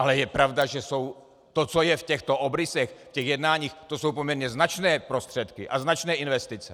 Ale je pravda, že to, co je v těchto obrysech, v těch jednáních, to jsou poměrně značné prostředky a značné investice.